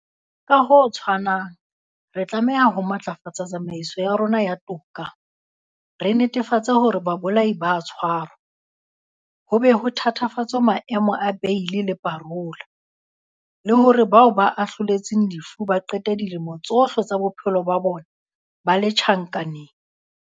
Ka ho tshwanang, re tlameha ho matlafatsa tsamaiso ya rona ya toka, re netefatse hore babolai ba a tshwarwa, ho be ho thatafatswe maemo a beili le parola, le hore bao ba ahloletsweng lefu ba qete dilemo tsohle tsa bophelo ba bona ba le tjhankaneng.